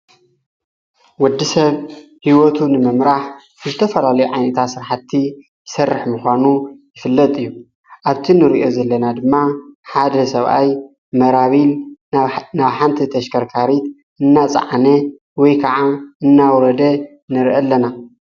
ወዲ ሰብ ሕይወቱ ንመምህራህ እተፈልል ዓይኒታ ሥርሓቲ ሠርሕ ምዃኑ ይፍለጥ እዩ ኣብቱ ንርእዮ ዘለና ድማ ሓደ ሰብኣይ መራቢል ናብ ሓንቲ ተሽከርካሪት እናፃዓነ ወይ ከዓ እናውረደ ነርኢ ኣለና።